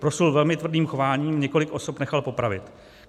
Proslul velmi tvrdým chováním, několik osob nechal popravit.